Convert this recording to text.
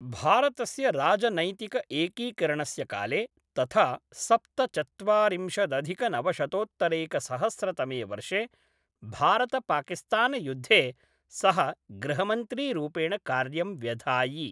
भारतस्य राजनैतिक एकीकरणस्य काले तथा सप्तचत्वारिंशदधिकनवशतोत्तरैकसहस्रतमे वर्षे भारतपाकिस्तानयुद्धे सः गृहमन्त्रीरूपेण कार्यं व्यधायि।